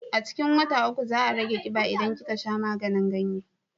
A cikin wata uku za a rage kiba idan kika sha maganin ganye